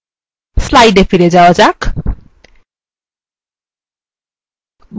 slides এ ফিরে যাওয়া যাক